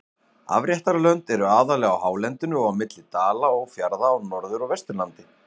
Afréttarlönd eru aðallega á hálendinu og á milli dala og fjarða á Norður- og Vesturlandi.